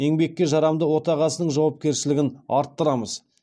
еңбекке жарамды отағасының жауапкершілігін арттырамыз